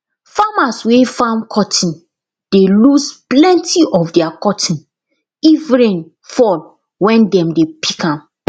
farmers wey farm cotton dey lose plenti of their cotton if rain fall wen dem dey pick am